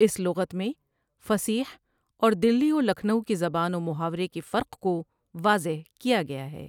اس لغت میں فصیح اور دلی و لکھنٔو کی زبان و محاورے کے فرق کو واضح کیا گیا ہے ۔